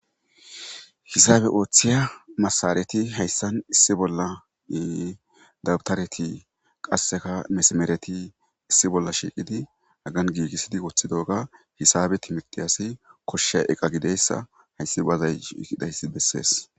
Hisaabe oothiya masareti haysan issi bolla dabtareti qasseka mesmareti issi bolla shiqidi hagan gigisidi wothidoga hisaabe timrtiyasi koshiya iqqa gidiyaysssa hayssi wazay shishidaysi besses.